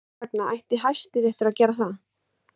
Hvers vegna ætti Hæstiréttur að gera það?